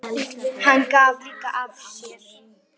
Hann gaf líka af sér.